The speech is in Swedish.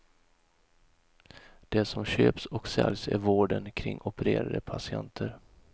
Det som köps och säljs är vården kring opererade patienter.